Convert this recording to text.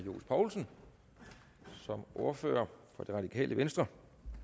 herre johs poulsen som ordfører for det radikale venstre